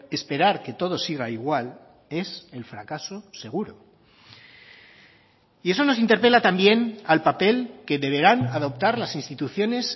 esperar que todo siga igual es el fracaso seguro y eso nos interpela también al papel que deberán adoptar las instituciones